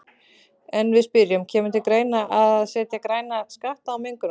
En við spyrjum, kemur til greina að setja græna skatta á mengunarvalda?